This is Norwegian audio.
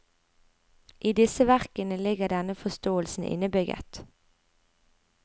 I disse verkene ligger denne forståelsen innebygget.